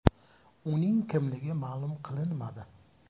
Uning kimligi ma’lum qilinmadi.